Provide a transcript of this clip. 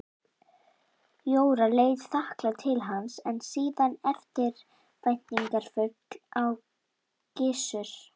Jóra leit þakklát til hans en síðan eftirvæntingarfull á Gissur.